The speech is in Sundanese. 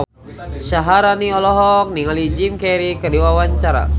Syaharani olohok ningali Jim Carey keur diwawancara